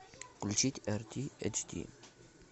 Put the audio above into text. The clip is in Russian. включить рт эйч ди